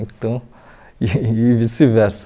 Então e vice-versa.